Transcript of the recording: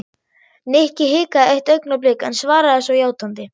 Nikki hikaði eitt augnablik en svaraði svo játandi.